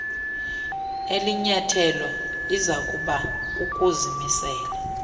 elinyathelo izakuba kukuzimisela